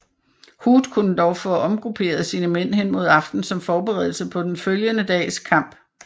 Hood kunne dog få omgrupperet sine mænd hen mod aften som forberedelse på den følgende dags kamp